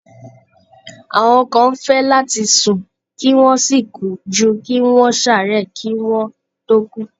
Àwọn kan fẹ́ láti sùn kí wọ́n sì kú ju kí wọ́n ṣààárẹ̀ kí wọ́n tó kú.